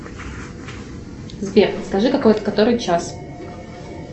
сбер скажи который час